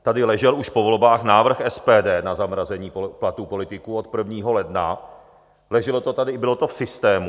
Tady ležel už po volbách návrh SPD na zamrazení platů politiků od 1. ledna, leželo to tady, bylo to v systému.